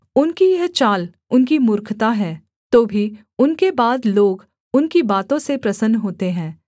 उनकी यह चाल उनकी मूर्खता है तो भी उनके बाद लोग उनकी बातों से प्रसन्न होते हैं सेला